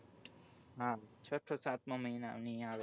હા છઠો સાતમાં મહિના ની આવે